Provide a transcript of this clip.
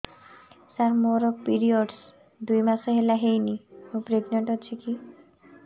ସାର ମୋର ପିରୀଅଡ଼ସ ଦୁଇ ମାସ ହେଲା ହେଇନି ମୁ ପ୍ରେଗନାଂଟ ଅଛି କି